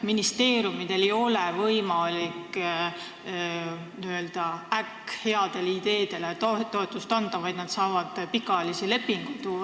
Ministeeriumidel ei ole võimalik n-ö äkkheadele ideedele toetust anda, vaid nad saavad pikaajalisi lepinguid teha.